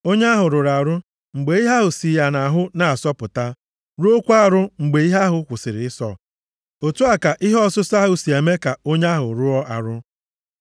Onye ahụ rụrụ arụ mgbe ihe ahụ si ya nʼahụ na-asọpụta, rụọkwa arụ mgbe ihe ahụ kwụsịrị ịsọ. Otu a ka ihe ọsụsọ ahụ si eme ka onye ahụ rụọ arụ.